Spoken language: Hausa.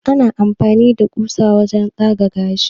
ana amfani da kusa wajen tsaga gashi